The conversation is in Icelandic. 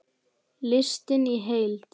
Listinn í heild